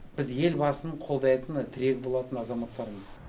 біз елбасын қолдайтын тірегі болатын азаматтармыз